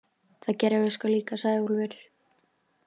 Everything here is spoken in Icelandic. Það gerðum við sko líka, sagði Úlfur.